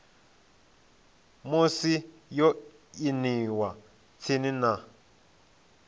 musi yo aniwa tsini na